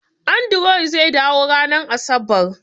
Andrew zai dawo ranar Asabar